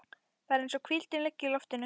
Það er eins og hvíldin liggi í loftinu.